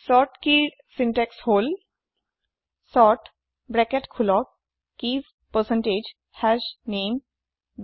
sort keyৰ syntax হল sort bracket খোলক কিছ পাৰচেণ্টেজ হাশনামে